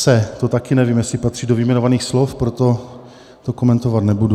Se - to taky nevím, jestli patří do vyjmenovaných slov, proto to komentovat nebudu.